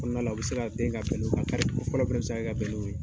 kɔnɔna na u bɛ se ka den ka bɛn fɔlɔ bɛ se ka bɛn n'o ye.